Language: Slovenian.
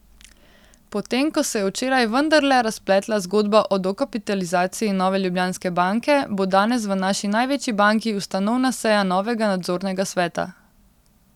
Potem ko se je včeraj vendarle razpletla zgodba o dokapitalizaciji Nove Ljubljanske banke, bo danes v naši največji banki ustanovna seja novega nadzornega sveta.